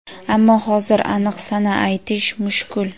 ammo hozir aniq sana aytish mushkul.